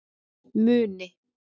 Muni